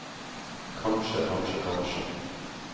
kanskje kanskje kanskje